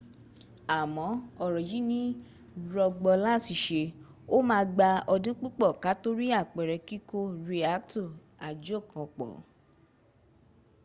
amo ọ̀rọ yí i ni rọgbọ lati ṣe ó ma gbà ọdún púpọ̀ kató rí àpere kíkò riakto ajokanpọ̀